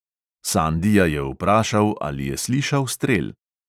Sandija je vprašal, ali je slišal strel.